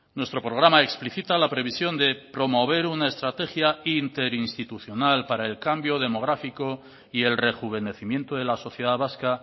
nuestro programa explicita la previsión de promover una estrategia interinstitucional para el cambio demográfico y el rejuvenecimiento de la sociedad vasca